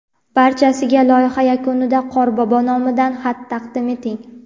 Barchasiga loyiha yakunida Qorbobo nomidan xat taqdim eting.